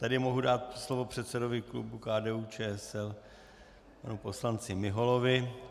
Tady mohu dát slovo předsedovi klubu KDU-ČSL panu poslanci Miholovi.